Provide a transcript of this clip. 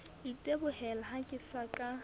itebohela ha ke sa ka